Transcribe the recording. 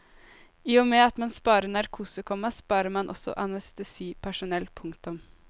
I og med at man sparer narkose, komma sparer man også anestesipersonell. punktum